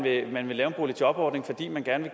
at man vil lave en boligjobordning fordi man gerne